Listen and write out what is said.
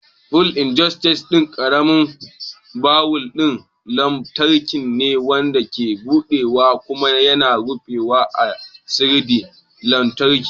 Fuel injector ɗan ƙaramin bawul ɗin lantarki ne, wanda ke buɗewa kuma yana rufewa da siginar lantarki.